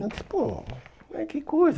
Eu disse, pô, né que coisa.